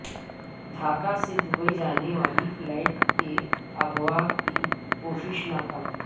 ڈھاکا سے دبئی جانے والی فلائٹ کے اغوا کی کوشش ناکام